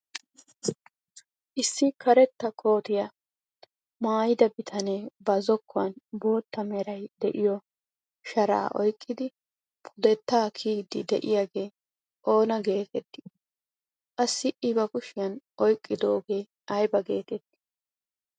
Issi karetta kootiyaa maayida bitanee ba zokkuwaan bootta meray de'iyoo sharaa oyqqidi pudettaa kiyiidi de'iyaagee oona getettii? qassi i ba kushiyaan oyqqidogee ayba getettii?